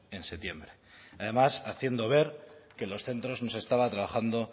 en septiembre además haciendo ver que en los centros no se estaba trabajando